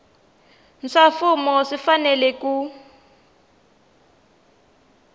swa mfumo swi fanele ku